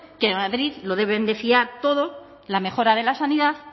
que en madrid lo deben de fiar todo la mejora de la sanidad